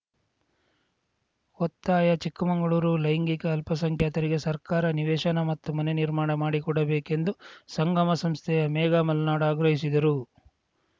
ಒತ್ತಾಯ ಚಿಕ್ಕಮಂಗಳೂರು ಲೈಂಗಿಕ ಅಲ್ಪಸಂಖ್ಯಾತರಿಗೆ ಸರ್ಕಾರ ನಿವೇಶನ ಮತ್ತು ಮನೆ ನಿರ್ಮಾಣ ಮಾಡಿಕೊಡಬೇಕೆಂದು ಸಂಗಮ ಸಂಸ್ಥೆಯ ಮೇಘಾ ಮಲ್ನಾಡು ಆಗ್ರಹಿಸಿದರು